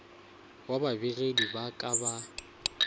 wa babegedi ba ka ba